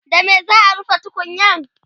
da me za'a rufe tukunyar?